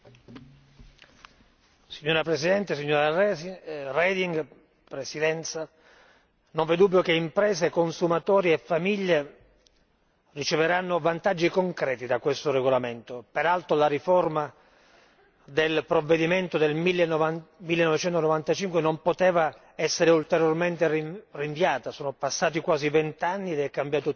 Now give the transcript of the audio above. Signora Presidente, signora Reding, onorevoli colleghi, non v'è dubbio che imprese, consumatori e famiglie riceveranno vantaggi concreti da questo regolamento peraltro la riforma del provvedimento del 1995 non poteva essere ulteriormente rinviata, sono passati quasi vent'anni ed è cambiato tutto. La modernizzazione